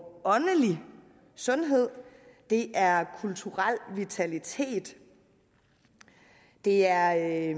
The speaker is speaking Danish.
åndelig sundhed det er kulturel vitalitet det er